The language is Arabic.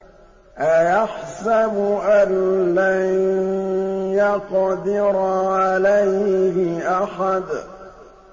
أَيَحْسَبُ أَن لَّن يَقْدِرَ عَلَيْهِ أَحَدٌ